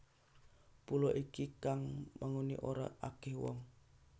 Pulo iki kang manggoni ora akih wong